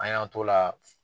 An y'an t'o la